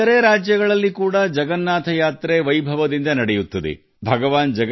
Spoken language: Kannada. ಇತರ ರಾಜ್ಯಗಳಲ್ಲಿಯೂ ಸಹ ಜಗನ್ನಾಥ ಯಾತ್ರೆಗಳನ್ನು ಬಹಳ ಉತ್ಸಾಹದಿಂದ ಮತ್ತು ವಿಜೃಂಭಣೆಯಿಂದ ನಡೆಸಲಾಗುತ್ತದೆ